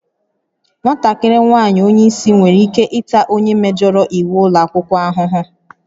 Nwatakịrị nwaanyị onye isi nwere ike ịta onye mejọrọ iwu ụlọ akwụkwọ ahụhụ